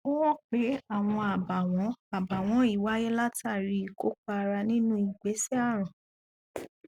ó hàn pé àọn àbàwọn àbàwọn yìí wáyé látàrí i ìkópa ara nínú ìgbésẹ ààrùn